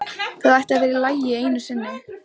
Það ætti að vera í lagi einu sinni.